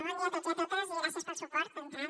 bon dia a tots i a totes i gràcies pel suport d’entrada